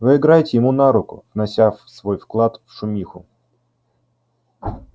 вы играете ему на руку внося свой вклад в шумиху